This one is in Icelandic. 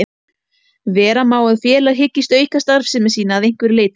Vera má að félag hyggist auka starfsemi sína að einhverju leyti.